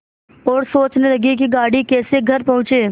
और सोचने लगे कि गाड़ी कैसे घर पहुँचे